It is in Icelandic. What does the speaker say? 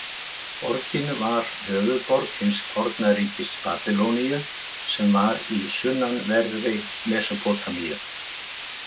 Borgin var höfuðborg hins forna ríkis Babýloníu sem var í sunnanverðri Mesópótamíu.